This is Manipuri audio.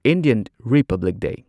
Indian republic day